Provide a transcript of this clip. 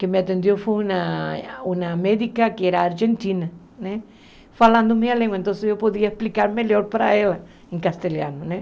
que me atendeu foi uma uma médica que era argentina né, falando minha língua, então eu podia explicar melhor para ela em castelhano né.